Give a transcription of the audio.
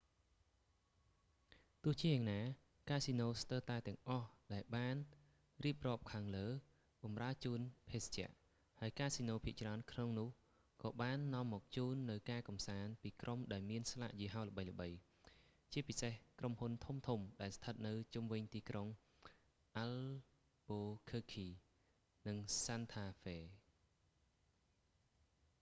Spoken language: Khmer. ទោះជាយ៉ាងណា កាស៊ីណូស្ទើរតែទាំងអស់ដែលបានរៀបរាប់ខាងលើបម្រើជូនភេសជ្ជៈ ហើយកាស៊ីណូភាគច្រើនក្នុងនោះ ក៏បាននាំមកជូននូវការកម្សាន្តពីក្រុមដែលមានស្លាកយីហោល្បីៗ ជាពិសេស ក្រុមហ៊ុនធំៗដែលស្ថិតនៅជុំវិញទីក្រុងអាល់ប៊ូឃើកឃី albuquerque និង សាន់ថា ហ្វេ santa fe